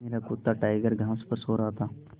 मेरा कुत्ता टाइगर घास पर सो रहा था